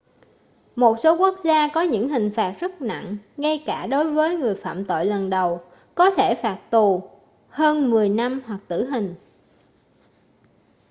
một số quốc gia có những hình phạt rất nặng ngay cả đối với người phạm tội lần đầu có thể bao gồm phạt tù hơn 10 năm hoặc tử hình